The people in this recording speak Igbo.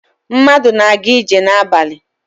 Mmadụ na-aga ije n'ala.